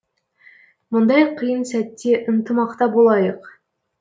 мұндай қиын сәтте ынтымақта болайық